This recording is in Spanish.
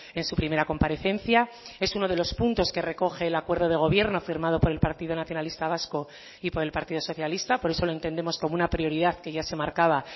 en su primera comparecencia es uno de los puntos que recoge el acuerdo de gobierno firmado por el partido nacionalista vasco y por el partido socialista por eso lo entendemos como una prioridad que ya se marcaba